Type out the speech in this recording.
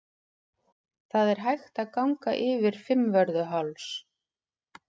Það er hægt að ganga yfir Fimmvörðuháls.